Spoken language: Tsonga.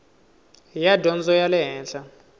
ya dyondzo ya le henhla